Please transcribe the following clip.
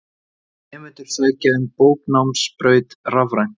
Nemendur sækja um bóknámsbraut rafrænt.